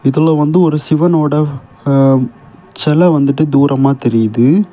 இதுல வந்து ஒரு சிவனோட அ ச்செல வந்துட்டு தூரமா தெரியிது.